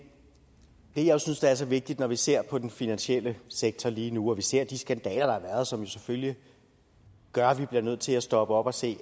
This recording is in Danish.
det jeg synes er så vigtigt når vi ser på den finansielle sektor lige nu og vi ser på de skandaler der har været som selvfølgelig gør at vi bliver nødt til at stoppe op og se